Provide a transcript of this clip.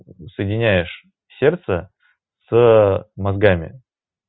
соединяешь сердце с мозгами